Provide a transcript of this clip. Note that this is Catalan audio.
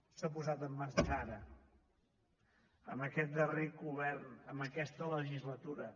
s’ha posat en marxa ara amb aquest darrer govern en aquesta legislatura